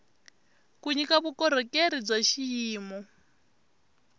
ku nyika vukorhokeri bya xiyimo